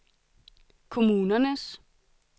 kommunernes